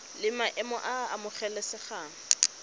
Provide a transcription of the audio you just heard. la maemo a a amogelesegang